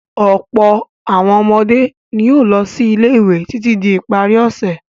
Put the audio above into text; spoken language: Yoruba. Ọ̀pọ̀ àwọn ọmọdé ni yóò sí ilé-ìwé títí di ìparí ọ̀sẹ̀.